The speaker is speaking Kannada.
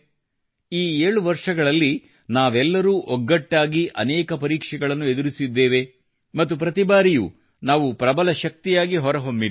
ಈ 7 ವರ್ಷಗಳಲ್ಲಿ ನಾವೆಲ್ಲರೂ ಒಗ್ಗಟ್ಟಾಗಿ ಅನೇಕ ಪರೀಕ್ಷೆಗಳನ್ನು ಎದುರಿಸಿದ್ದೇವೆ ಮತ್ತು ಪ್ರತಿಬಾರಿಯೂ ನಾವು ಪ್ರಬಲ ಶಕ್ತಿಯಾಗಿ ಹೊರಹೊಮ್ಮಿದ್ದೇವೆ